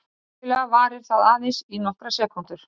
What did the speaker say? Venjulega varir það aðeins í nokkrar sekúndur.